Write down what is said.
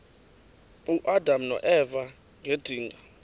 uadam noeva ngedinga